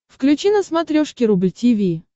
включи на смотрешке рубль ти ви